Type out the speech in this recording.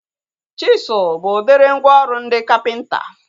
Chisụl bụ udiri mgwooru ndị kapịnta